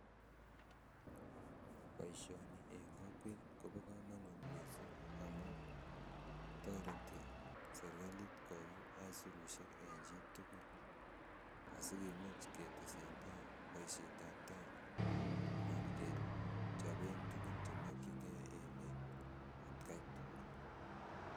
Boishoni en kokwet kobo komonut missing amun toreti sirkalit koyum isurushek en chitukul asikimuch ketesentai boishet ab tai anan kechopen tukun chemokin geen emet atkai tukul.